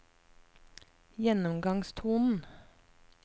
gjennomgangstonen